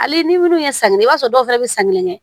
Hali ni ye san kelen kɛ i b'a sɔrɔ dɔw fana bɛ san kelen kɛ